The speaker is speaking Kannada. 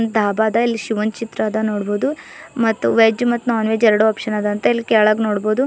ಡಾಬದ ಇಲ್ಲಿ ಶಿವಂದ್ ಚಿತ್ರ ಅದ ನೋಡ್ಬೊದು ಮತ್ ವೆಜ ಮತ್ತು ನಾನ್ ವೆಜ ಎರಡು ಆಪ್ಷನ್ ಅದ ಇಲ್ಲಿ ಕೆಳಗ್ ನೋಡ್ಬೊದು.